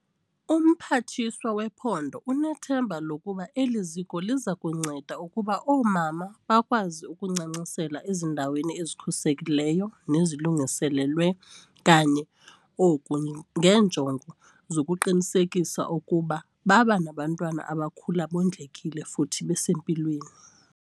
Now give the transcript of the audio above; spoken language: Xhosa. UMphathiswa wePhondo unethemba lokuba eli ziko liza kunceda ukuba oomama bakwazi ukuncancisela ezindaweni ezikhuselekileyo nezilungiselelwe kanye oku ngeenjongo zokuqinisekisa ukuba baba nabantwana abakhula bondlekile futhi besempilweni.